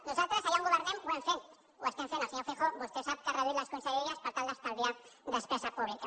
nosaltres allà on governem ho hem fet ho estem fent el senyor feijóo vostè ho sap ha reduït les conselleries per tal d’estalviar despesa pública